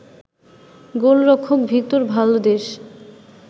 গোলরক্ষক Victor Valdes